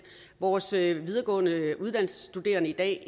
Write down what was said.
vores videregående uddannelsesstuderende i dag